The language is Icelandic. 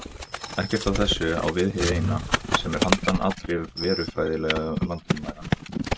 Ekkert af þessu á við hið Eina, sem er handan allra verufræðilegra landamæra.